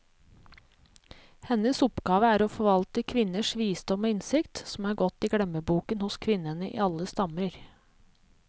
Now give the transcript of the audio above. Hennes oppgave er å forvalte kvinners visdom og innsikt, som er gått i glemmeboken hos kvinnene i alle stammer.